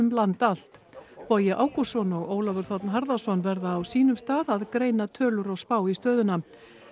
land allt Bogi Ágústsson og Ólafur þ harðarsson verða á sínum stað að greina tölur og spá í stöðuna